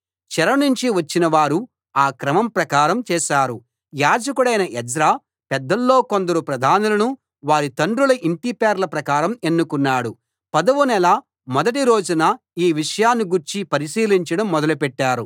చెరనుంచి వచ్చినవారు ఆ క్రమం ప్రకారం చేశారు యాజకుడైన ఎజ్రా పెద్దల్లో కొందరు ప్రధానులును వారి తండ్రుల ఇంటి పేర్ల ప్రకారం ఎన్నుకున్నాడు పదవ నెల మొదటి రోజున ఈ విషయాన్ని గూర్చి పరిశీలించడం మొదలుపెట్టారు